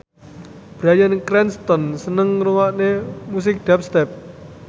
Bryan Cranston seneng ngrungokne musik dubstep